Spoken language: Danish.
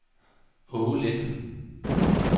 Aage Lind